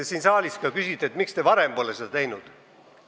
Siin saalis ka küsiti, miks te pole seda varem teinud.